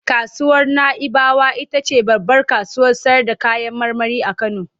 Kasuwar Na'ibawa ita ce babbar kasuwar sayarda kayan marmari a Kano.